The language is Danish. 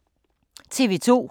TV 2